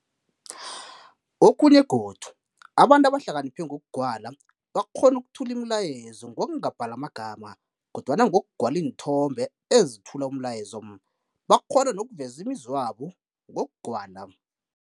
Okhunye godu abantu abahlakiniphe ngokugwala bakghona ukuthula imilayezo ngokungabhali amagama kodwana ngokugwala iinthombe ezithula umlayezo, bakhona nokuveza imizwa yabo ngokugwala.